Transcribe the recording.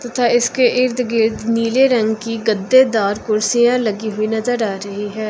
तथा इसके इर्द गिर्द नीले रंग की गद्देदार कुर्सियां लगी हुई नजर आ रही हैं।